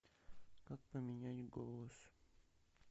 как поменять голос